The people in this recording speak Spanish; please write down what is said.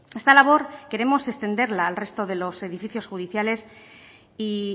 esta labor queremos extenderla al resto de los edificios judiciales y